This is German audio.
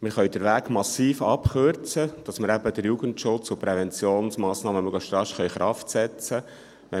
Wir können den Weg massiv abkürzen, damit wir eben den Jugendschutz und die Präventionsmassnahmen möglichst rasch in Kraft setzen können.